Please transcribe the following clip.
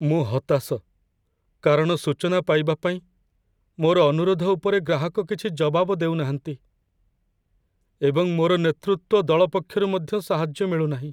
ମୁଁ ହତାଶ! କାରଣ ସୂଚନା ପାଇବା ପାଇଁ ମୋର ଅନୁରୋଧ ଉପରେ ଗ୍ରାହକ କିଛି ଜବାବ ଦେଉ ନାହାନ୍ତି, ଏବଂ ମୋର ନେତୃତ୍ୱ ଦଳ ପକ୍ଷରୁ ମଧ୍ୟ ସାହାଯ୍ୟ ମିଳୁନାହିଁ।